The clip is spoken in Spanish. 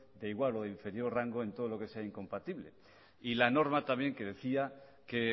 de igual o de inferior rango en todo lo que sea incompatible y la norma también que decía que